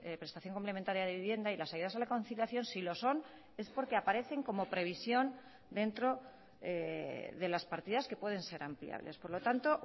prestación complementaria de vivienda y las ayudas a la conciliación si lo son es porque aparecen como previsión dentro de las partidas que pueden ser ampliables por lo tanto